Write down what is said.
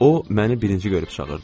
O məni birinci görüb çağırdı.